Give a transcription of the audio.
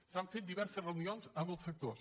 s’han fet diverses reunions amb els sectors